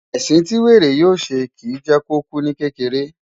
Ẹ̀sìn tí wèrè yóò ṣe, kìí jẹ́ kó kú ní kékeré.